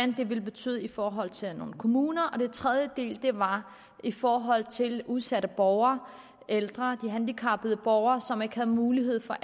ville betyde i forhold til nogle kommuner og den tredje del var i forhold til udsatte borgere ældre de handicappede borgere som ikke havde mulighed for